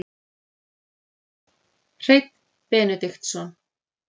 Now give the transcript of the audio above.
Hreinn Benediktsson